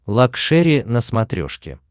лакшери на смотрешке